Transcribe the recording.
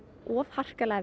of harkalega